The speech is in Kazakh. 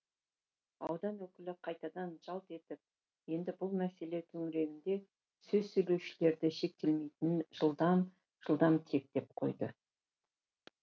аудан өкілі қайтадан жалт етіп енді бұл мәселе төңірегінде сөз сөйлеушілерді шектемейтінін жылдам жылдам тиектеп қойды